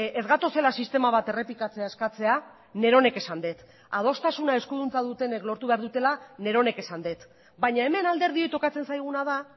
ez gatozela sistema bat errepikatzea eskatzea neronek esan dut adostasuna eskuduntza dutenek lortu behar dutela neronek esan dut baina hemen alderdioi tokatzen zaiguna da